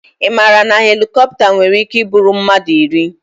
Ị maara na helikopta nwere ike iburu mmadụ iri?